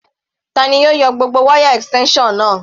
Tani ó yọ gbogbo wáyà extension náà?